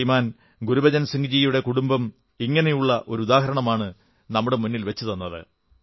ശ്രീമാൻ ഗുരുബചൻ സിംഗ്ജിയുടെ കുടുംബം അങ്ങനെയൊരു ഉദാഹരണമാണ് നമ്മുടെ മുന്നിൽ വച്ചത്